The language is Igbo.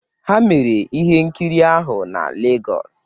Ha mere ihe nkiri ahụ na Legos